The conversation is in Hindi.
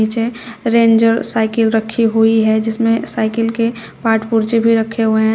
नीचे रेंजर साइकिल रखी हुई है जिसमें साइकिल के पार्ट पुर्जे भी रखे हुए है।